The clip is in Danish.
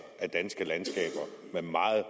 af danske landskaber med meget